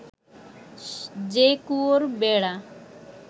যে কুয়োর বেড়া